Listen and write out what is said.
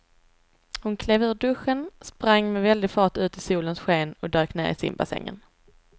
Hon klev ur duschen, sprang med väldig fart ut i solens sken och dök ner i simbassängen.